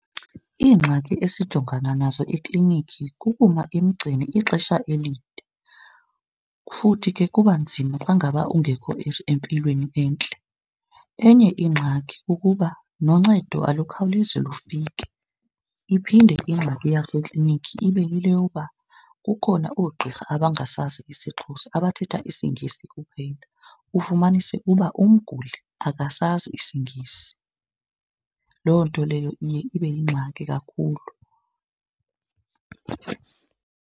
Iingxaki esijongana nazo ekliniki kukuma emgceni ixesha elide futhi ke kuba nzima xa ngaba ungekho empilweni entle. Enye ingxaki kukuba noncedo alukhawulezi lufike. Iphinde ingxaki yasekliniki ibe yile yoba kukhona oogqirha abangasazi isiXhosa abathetha isiNgesi kuphela, ufumanise uba umguli akasazi isingesi. Loo nto leyo iye ibe yingxaki kakhulu.